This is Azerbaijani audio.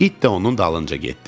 İt də onun dalınca getdi.